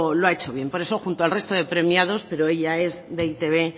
lo ha hecho bien por eso junto al resto de premiados pero ella es de e i te be